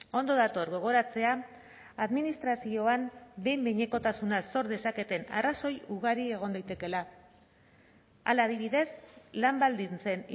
ondo dator gogoratzea administrazioan behin behinekotasuna sor dezaketen arrazoi ugari egon daitekeela hala adibidez lan baldintzen